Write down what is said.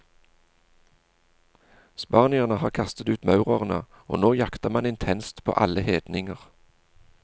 Spanierne har kastet ut maurerne, og nå jakter man intenst på alle hedninger.